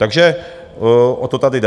Takže o to tady jde.